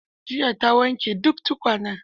Jiya ta wanke duk tukwanenta.